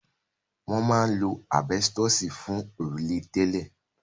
Wọ́n máa ń lo àbẹ́stọ̀sì fún òrùlé tẹ́lẹ̀.